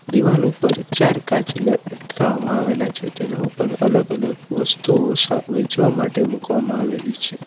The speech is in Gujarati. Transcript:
દિવાલ ઉપર ચાર કાચ લ લટકાવામાં આવેલા છે તેના ઉપર અલગ અલગ વસ્તુઓ સ વહેંચવા માટે મૂકવામાં આવેલી છે.